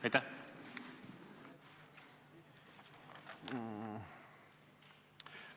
Aitäh!